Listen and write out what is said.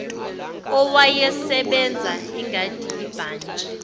owayesebenza ingadi ibhantshi